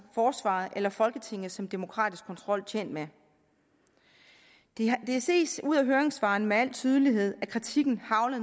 forsvaret eller folketinget som demokratisk kontrol tjent med det ses ud af høringssvarene med al tydelighed at kritikken hagler